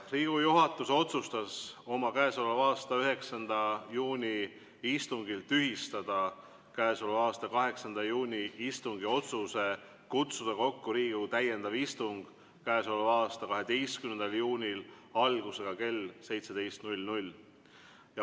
Riigikogu juhatus otsustas oma k.a 9. juuni istungil tühistada k.a 8. juuni istungi otsuse kutsuda kokku Riigikogu täiendav istung k.a 12. juunil algusega kell 17.